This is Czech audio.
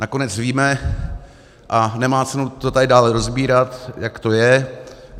Nakonec víme, a nemá cenu to tady dále rozebírat, jak to je.